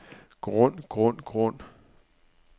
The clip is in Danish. grund grund grund